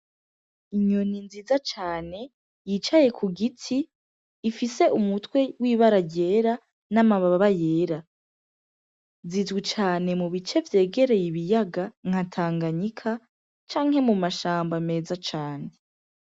Inyoni nziza cane yicaye kugiti ifise umutwe w'ibara ryera n'amababa yera zizwi cane mubice vyegereye ibiyaga nka Tanganyika canke mumashamba meza cane.